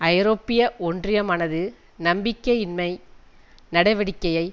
ஐரோப்பிய ஒன்றியமானது நம்பிக்கையின்மை நடவடிக்கையை